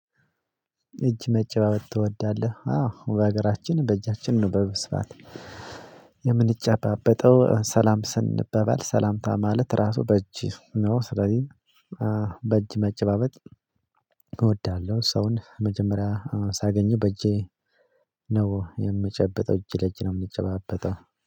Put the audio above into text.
በእጅ መጨባበጥ ትወዳለህ? አዎ በሀገራችን በእጃችን ነው የምንጨባበጠው ሰላም ስንባባል ሰላምታ ማለት ራሱ በእጅ ነው። ስለዚህ በእጅ መጨባበጥ። እወዳለሁ ሰውን መጀመርያ ሳገኝ በእጄ ነው የምጨብጠው እጅ ለእጅ ነው የምንጨባበጥው።